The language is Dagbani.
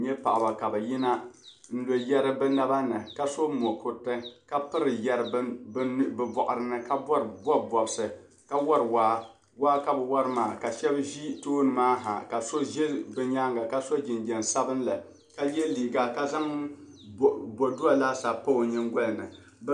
N nya paɣiba ka bɛ yina n-lo yɛri bɛ naba ni ka so bukuriti ka piri yɛri bɛ bɔɣiri ni ka bɔbi bɔbisi. Waa ka bɛ wari maa ka shɛba ʒi tooni maa ha ka so za bɛ nyaaŋga ka so jinjam sabilinli ka ye liiga ka zaŋ bɔdua laasabu pa o nyingoli ni.